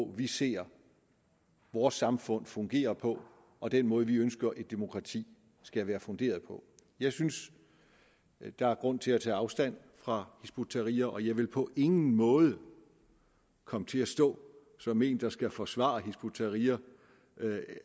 vi ser vores samfund fungerer på og den måde vi ønsker et demokrati skal være funderet på jeg synes der er grund til at tage afstand fra hizb ut tahrir og jeg vil på ingen måde komme til at stå som en der skal forsvare hizb ut tahrir